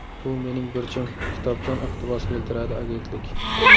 Bu mening burchim”, kitobdan iqtibos keltiradi agentlik.